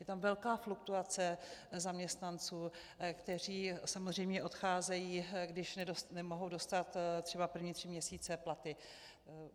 Je tam velká fluktuace zaměstnanců, kteří samozřejmě odcházejí, když nemohou dostat třeba první tři měsíce platy.